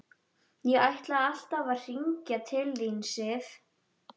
Ég ætlaði alltaf að hringja til þín, Sif.